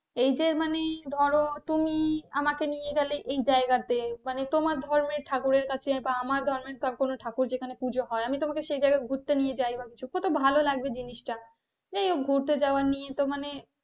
এই যে মানে ধরো তুমি আমাকে নিয়ে গেলে এই জায়গাতে মানে তোমার ধর্মে ঠাকুরের কাছে বা আমার ধর্মের ঠাকুরের যেখানে পুজো হয় আমি তোমাকে সেখানে নিয়ে যায় কিছু কত ভালো লাগবে জিনিসটা এই ঘুরতে যাওয়া তো নিয়ে মানে,